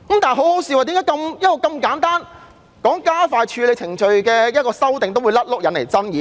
最可笑的是，為何如此簡單及希望加快處理程序的修訂也會引來爭議？